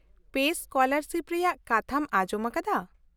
ᱼᱯᱮᱥ scholarship ᱨᱮᱭᱟᱜ ᱠᱟᱛᱷᱟᱢ ᱟᱸᱡᱚᱢ ᱟᱠᱟᱫᱟ ?